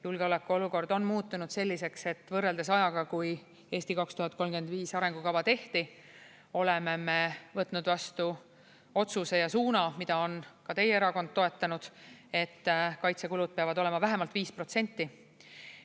Julgeoleku olukord on muutunud selliseks, et võrreldes ajaga, kui "Eesti 2035" arengukava tehti, oleme me võtnud vastu otsuse ja suuna, mida on ka teie erakond toetanud, et kaitsekulud peavad olema vähemalt 5%.